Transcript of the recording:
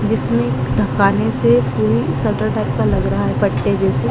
जिसमें धकाने से कोई सटर टाइप का लग रहा है पट्टे जैसे--